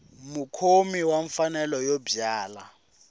mukhomi wa mfanelo yo byala